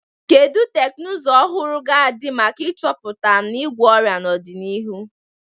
Kedu teknụzụ ọhụụ ga-adị maka ịchọpụta na ịgwọ ọrịa n'ọdịnihu?